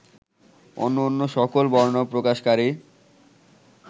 অন্যান্য সকল বর্ণ প্রকাশকারী